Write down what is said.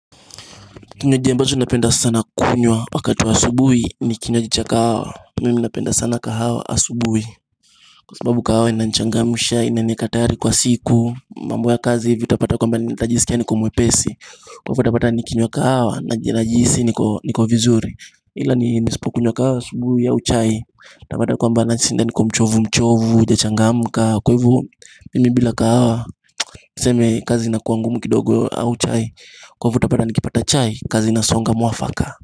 Kinywaji ambazo napenda sana kunywa, wakati wa asubuhi, ni kinywaji cha kahawa, mimi napenda sana kahawa asubuhi Kwa sababu kahawa ina nichangamsha, inaniweka tayari kwa siku, mambo ya kazi hivi utapata kwamba nitajisikia niko mwepesi. Kwa hivyo utapata nikinywa kahawa, najisi niko vizuri, ila ni nisipo kunywa kahawa asubuhi au chai utapata kwamba nashinda niko mchovu mchovu, sija changamka kahawa, tuseme kazi inakuwa ngumu kidogo ama chai, kwa hivyo utapata nikipata chai kazi inasonga mwafaka.